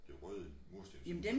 Det røde murstenshus